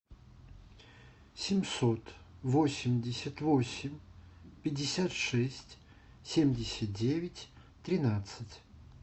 семьсот восемьдесят восемь пятьдесят шесть семьдесят девять тринадцать